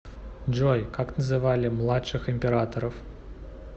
джой как называли младших императоров